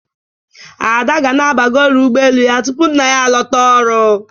Ada ga na-abagori ụgbọelu ya tupu nna ya a lota ọrụ.